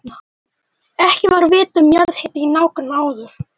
Ekki var vitað um jarðhita í nágrenninu áður.